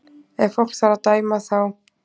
Ef fólk þarf að dæma þá